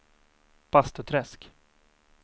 Bastuträsk